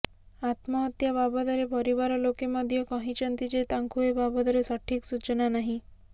ଆତ୍ମହତ୍ୟା ବାବଦରେ ପରିବାର ଲୋକେ ମଧ୍ୟ କହିଛନ୍ତି ଯେ ତାଙ୍କୁ ଏ ବାବଦରେ ସଠିକ ସୂଚନା ନାହିଁ